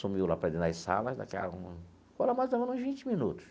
Sumiu lá para dentro das salas, daqui a algum... Pô, lá mais ou menos uns vinte minutos.